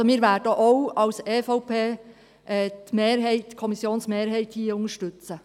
Also: Wir werden auch als EVP hier die Kommissionsmehrheit unterstützen.